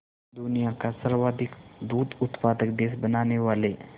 दुनिया का सर्वाधिक दूध उत्पादक देश बनाने वाले